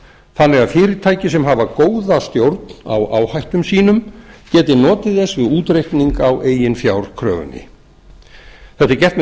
þannig að fyrirtæki sem hafa góða stjórn á áhættum sínum geti notið þess við útreikning á eiginfjárkröfunni þetta er gert með